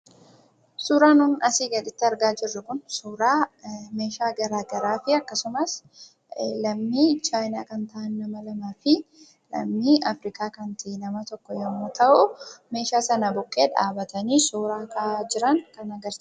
Suuraan nun asii gaditti argaa jirru Kuni, suuraa meeshaa garaagaraati. Akkasumas lammii Chaayinaa kan ta'an, nama lamaa fi lammii Afrikaa kan ta'e nama tokko yoo ta'u, meeshaa sana bukkees dhaabbatanii suuraa ka'aa jiran kan agarsiisuudha.